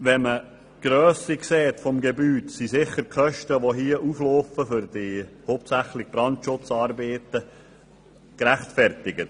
Wenn man die Grösse des Gebäudes sieht, sind die Kosten für hauptsächlich Brandschutzarbeiten gerechtfertigt.